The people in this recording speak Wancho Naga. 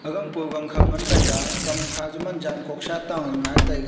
aganpou gangkho ngan kamkha juh man zankohsa tale ngaitaiga.